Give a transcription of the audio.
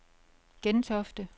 Gentofte